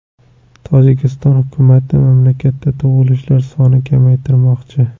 Tojikiston hukumati mamlakatda tug‘ilishlar sonini kamaytirmoqchi.